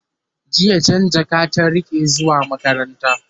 jiya Jan jaka ta rike zuwa makaranta